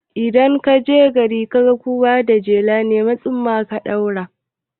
Idan kaje gari kaga kowa da jela, nemi tsumma ka ɗaura